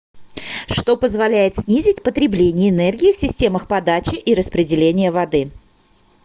что позволяет снизить потребление энергии в системах подачи и распределения воды